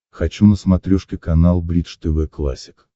хочу на смотрешке канал бридж тв классик